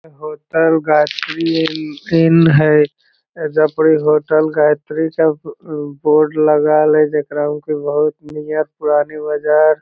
hotel Gayatri inn है hotel Gayatri सब board लगाल है जेकरा होके बहोत नियर पुरानी बाजार --